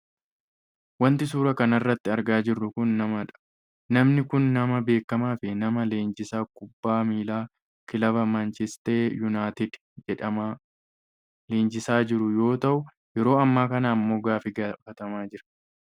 Wanti suuraa kanarratti argaa jirru kun namadha. Namni kunis nama beekkamaa fi nama leenjisaa kubbaa miilaa kilaba manchiiste yuunaayitid jedhama leenjisaa jiru yoo ta'u yeroo ammaa kana ammoo gaaffi gaafatamaa jira.